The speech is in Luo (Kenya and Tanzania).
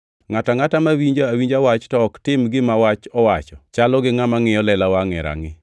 Ngʼato angʼata mawinjo awinja wach to ok tim gima wach owacho, chalo gi ngʼama ngʼiyo lela wangʼe e rangʼi,